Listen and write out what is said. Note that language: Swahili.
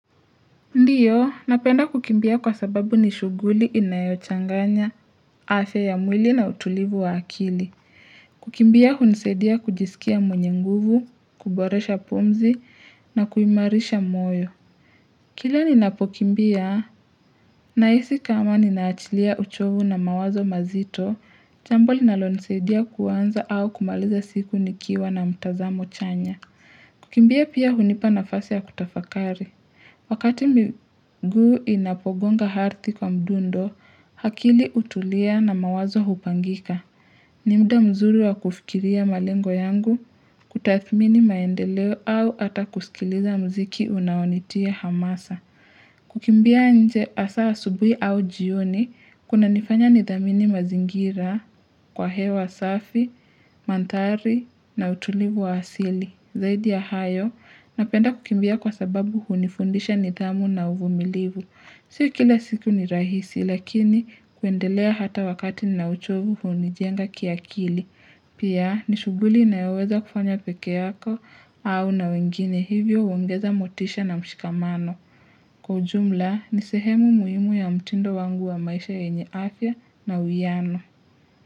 Ndiyo, napenda kukimbia kwa sababu ni shuguli inayochanganya afya ya mwili na utulivu wa akili. Kukimbia hunisaidia kujisikia mwenye nguvu, kuboresha pumzi na kuimarisha moyo. Kila ninapokimbia, nahisi kama ninaachilia uchovu na mawazo mazito, cha ambalo linalo nisaidia kuanza au kumaliza siku nikiwa na mtazamo chanya. Kukimbia pia hunipa nafasi ya kutafakari. Wakati miguu inapogonga ardhi kwa mdundo, akili utulia na mawazo hupangika. Ni muda mzuri wa kufikiria malengo yangu, kutathmini maendeleo au ata kusikiliza mziki unaonitia hamasa. Kukimbia nje hasa asubuhi au jioni, kuna nifanya nidhamini mazingira kwa hewa safi, mandhari na utulivu wa asili. Zaidi ya hayo, napenda kukimbia kwa sababu hunifundisha nidhamu na uvumilivu. Sio kila siku ni rahisi, lakini kuendelea hata wakati na uchovu hunijenga kiakili. Pia, ni shuguli inayoweza kufanya peke yako au na wengine hivyo unaongeza motisha na mshikamano. Kwa ujumla, ni sehemu muhimu ya mtindo wangu wa maisha yenye afya na uwiano.